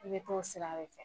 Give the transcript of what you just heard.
ko sira de tɛ